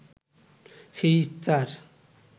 সেই ইচ্ছার